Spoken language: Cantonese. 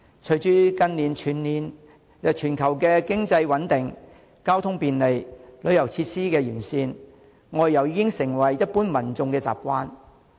隨着近年全球經濟穩定、交通便利、旅遊設施完善，外遊已經成為一般民眾的習慣。